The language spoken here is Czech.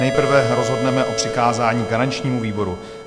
Nejprve rozhodneme o přikázání garančnímu výboru.